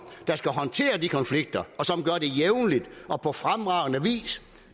skal håndtere de konflikter og som gør det jævnligt og på fremragende vis